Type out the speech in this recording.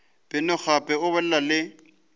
beno gape o bolele le